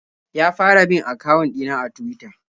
Ya fara bin akawun ɗina a Tuwita.